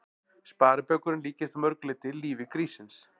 Sparibaukurinn líkist að mörg leyti lífi gríssins.